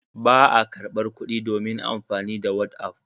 Ba a karɓar kuɗi domin amfani da whatsapp.